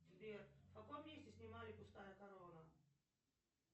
сбер в каком месте снимали пустая корона